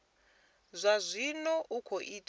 zwa zwino i khou ita